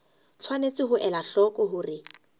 tshwanetse ho ela hloko hore